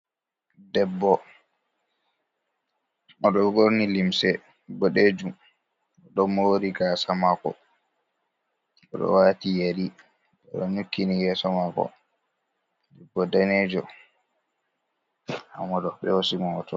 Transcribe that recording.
Ɗeɓɓo, oɗo ɓorni limse ɓoɗejum. Oɗo moori gasa mako. Oɗo wati yeri. Oɗo nyukkini yeso mako. Ɗeɓɓo ɗanejo. Nɗamoɗo ɓe hosi hoto.